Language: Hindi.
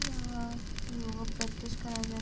यहाँ योगा प्रैक्टिस कराई जा --